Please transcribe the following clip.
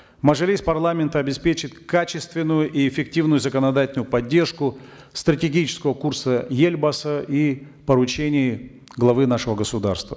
мажилис парламента обеспечит качественную и эффективную законодательную поддержку стратегического курса елбасы и поручений главы нашего государства